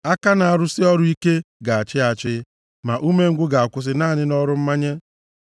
Aka na-arụsị ọrụ ike ga-achị achị, ma umengwụ ga-akwụsị naanị nʼọrụ mmanye.